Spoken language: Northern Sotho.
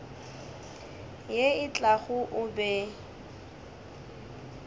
ye e tlago o be